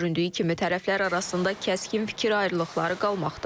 Göründüyü kimi tərəflər arasında kəskin fikir ayrılıqları qalmaqdadır.